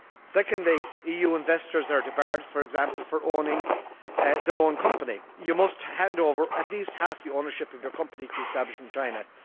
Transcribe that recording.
Secondly, EU investors are debarred, for example, from owning their own company. You must hand over at least half the ownership of your company if you establish in China.